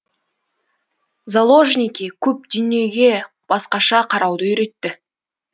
заложники көп дүниеге басқаша қарауды үйретті